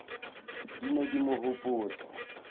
di ne di mo hopotsa